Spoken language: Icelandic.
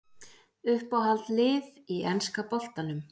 Uppáhald lið í enska boltanum?